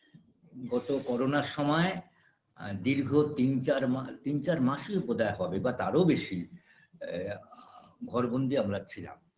গত করোনার সময় আ দীর্ঘ তিন চার মা তিন চার মাসই বোধ হয় হবে বা তাঁরও বেশি এ আ ঘরবন্দী আমরা ছিলাম